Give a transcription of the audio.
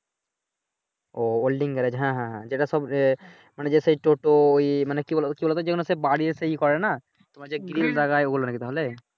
ও ও holding garage হ্যাঁ হ্যাঁ যেটা সব মানি যেটা ওই মানে কি বলোতো কি বলোতো যেগুলা হচ্ছে বাড়ির একটা ইয়ে করে নাহ তোমার যে গ্রিল লাগায় ওইগুলা নাকি তাহলে